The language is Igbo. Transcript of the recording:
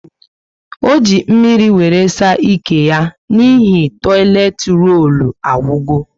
O ji mmírí wéré saa ike yá n'ihi toileti rollu agwugo